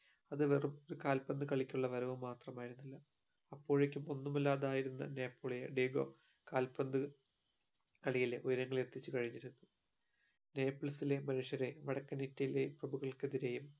അത് വെറും കാൽപന്ത് കളിക്കുള്ള വരവ് മാത്രമായിരുന്നില്ല അപ്പോഴേക്കും ഒന്നുമല്ലാതെയായിരുന്ന നെപ്പോളിയൻ ഡീഗോ കാൽപന്ത് കളി ഉയരങ്ങളിൽ എത്തിച്ചു കഴിഞിരുന്നു നേപ്പിൾസിലെ മനുഷ്യരെ പ്രമുകൾക്കെതിരെയും